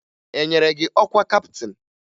E nyere gị ọkwa kaptịn?